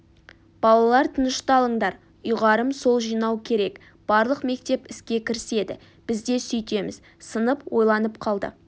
балалар тынышталыңдар ұйғарым сол жинау керек барлық мектеп іске кіріседі біз де сөйтеміз сынып ойланып қалды